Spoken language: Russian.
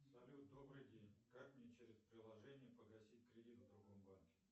салют добрый день как мне через приложение погасить кредит в другом банке